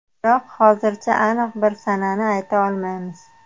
Biroq hozircha aniq bir sanani ayta olmaymiz.